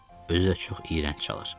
özü də çox iyrənc çalır.